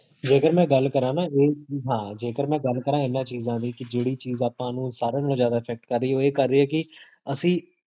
ਜੇਕਰ ਮੈਂ ਗਲ ਕਰਾਂ ਨਾ, ਹਾਂ, ਜੇਕਰ ਮੈਂ ਗਲ ਕਰਾਂ, ਇੰਨਾ ਚੀਜ਼ਾਂ ਲਈ ਕੀ ਜੇਹੜੀ ਚੀਜ਼ ਆਪਾਂ ਨੂ ਸਾਰੀਆਂ ਨਾਲ ਜਾਦਾ effect ਕਰ ਰਹੀ ਹੈ, ਓਹ ਇਹ ਕਰ ਰਹੀ ਹੈ ਕੀ, ਅਸੀ